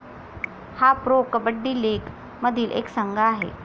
हा pro kabaddi league मधील एक संघ आहे.